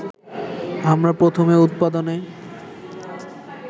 আমরা প্রথমে উৎপাদনে